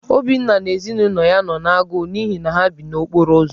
Obinna na ezinụlọ ya nọ n’agụụ n’ihi na ha bi n’okporo ụzọ.